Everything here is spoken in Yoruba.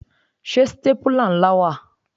Ṣé stépìlà ńlá wà?